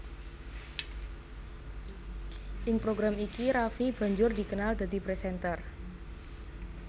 Ing program iki Raffi banjur dikenal dadi presenter